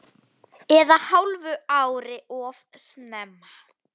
Eða hálfu ári of snemma.